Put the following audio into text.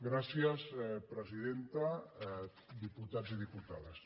gràcies presidenta diputats i diputades